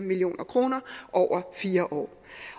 million kroner over fire år